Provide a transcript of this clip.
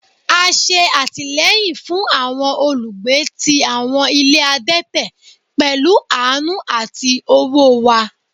A ṣe atilẹyin fun awọn olugbe ti awọn ile adẹtẹ pẹlu aanu ati owo wa